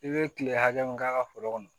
I bɛ kile hakɛ min k'a ka foro kɔnɔ